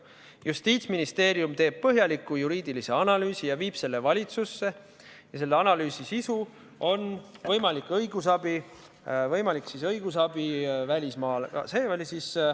Justiitsministeerium teeb põhjaliku juriidilise analüüsi ja viib selle valitsusse ja selle analüüsi sisu on, et on võimalik õigusabi välismaal.